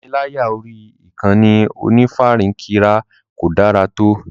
Ìpániláyà orí ìkànnì onífarakínra kò dára tó.